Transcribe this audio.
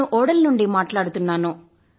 నేను బోడల్ నుండి మాట్లాడుతున్నాను